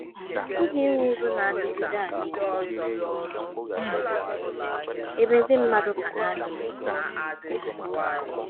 A pụghị inwe udo na - adịgide adịgide um ebe ndị mmadụ ka na - amụ igbu mmadụ.